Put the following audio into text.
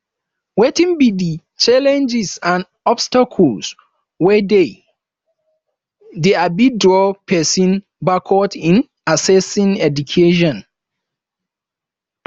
wetin be di challenges and obstacles wey dey dey um draw pesin backward in accessing education